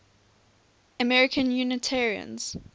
american unitarians